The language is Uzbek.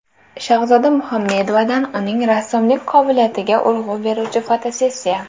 Shahzoda Muhammedovadan uning rassomlik qobiliyatiga urg‘u beruvchi fotosessiya .